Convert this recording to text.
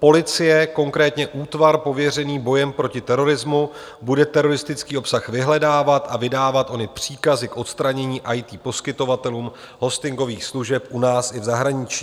Policie, konkrétně útvar pověřený bojem proti terorismu, bude teroristický obsah vyhledávat a vydávat ony příkazy k odstranění IT poskytovatelům hostingových služeb u nás i v zahraničí.